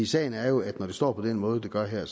sagen er jo at når det står på den måde det gør her